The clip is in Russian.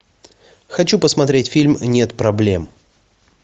хочу посмотреть фильм нет проблем